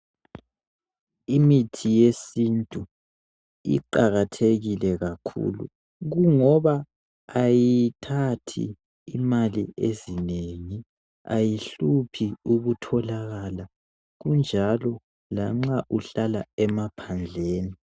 Imithi yesintu iqakathekile kakhulu kungoba ayithathi imali ezinengi. Ayihluphi ukutholakala kunjalo lanxa uhlala emaphandleni.